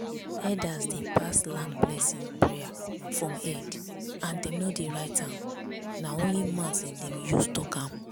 elders dey pass land blessing prayer from head and dem no dey write am na only mouth dem dey use talk am.